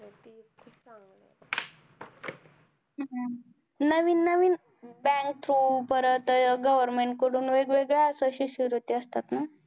हम्म नवीन नवीन bank through परत अं government कडून वेगवेगळ्या अश्या शिष्यवृत्या असतात ना?